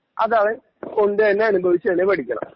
അതവൻ കൊണ്ട് തന്നെ അനുഭവിച്ചു തന്നെ പടിക്കണം